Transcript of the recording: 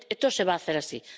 Esto se va a hacer así.